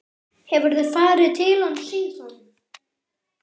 Hefurðu farið til hans síðan?